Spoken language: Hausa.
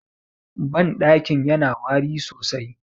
bandakin yana wari sosai